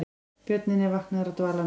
Björninn er vaknaður af dvalanum